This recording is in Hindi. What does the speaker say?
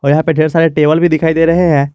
और यहां पे ढेर सारे टेबल भी दिखाई दे रहे हैं।